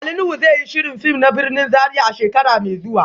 Ali Nuhu zai yi shirin fim na birnin Zaria a shekara mai zuwa